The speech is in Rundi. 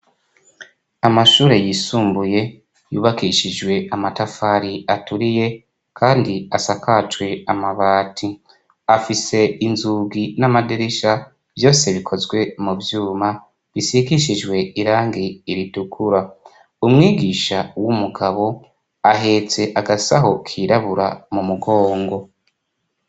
Amashure yisumbuye yubakishijwe amatafari aturiye kandi asakajwe amabati afise inzugi n'amadirisha vyose bikozwe muvyuma bisigishijwe irangi ritukura. Umwigisha w'umugabo ahetse agasaho kirabura m'umugongo.